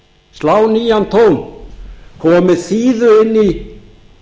tón koma með þíðu inn í